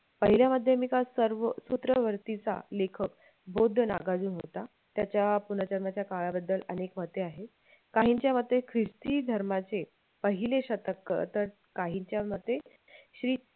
पहिल्या माध्यमिकांचं सर्व सूत्रवरतीचा लेखक बौद्ध नागार्जुन होता त्याच्या पुनर्जन्माच्या काळाबद्दल अनेक मते आहेत काहींच्या मते ख्रिस्ती धर्मांचे पहिले शतक तर काहींच्या मते श्री